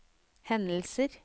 hendelser